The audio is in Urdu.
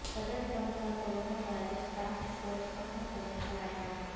صدر ٹرمپ کا کرونا وائرس ٹاسک فورس ختم کرنے کا اعلان